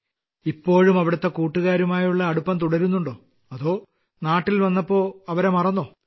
ഇപ്പോഴും അവിടുത്തെ കൂട്ടുകാരുമായുള്ള അടുപ്പം തുടരുന്നുണ്ടോ അതോ നാട്ടിൽ വന്നപ്പോൾ അവരെ മറന്നോ